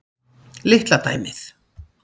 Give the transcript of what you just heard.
Litla dæmið.